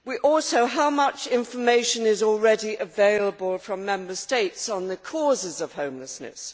Also, how much information is already available from Member States on the causes of homelessness?